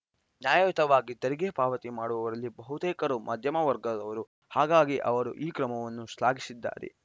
ನ್ಯಾಯಯುತವಾಗಿ ತೆರಿಗೆ ಪಾವತಿ ಮಾಡುವವರಲ್ಲಿ ಬಹುತೇಕರು ಮಧ್ಯಮ ವರ್ಗದವರು ಹಾಗಾಗಿ ಅವರು ಈ ಕ್ರಮವನ್ನು ಶ್ಲಾಘಿಸಿದ್ದಾರೆ